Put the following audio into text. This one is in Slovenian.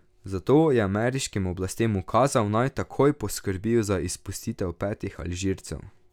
Zato je ameriškim oblastem ukazal, naj takoj poskrbijo za izpustitev petih Alžircev.